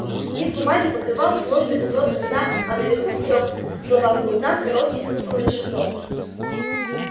лист бумаги покрывал сложный узор кода а наверху в трёх словах был дан короткий смысл расшифровки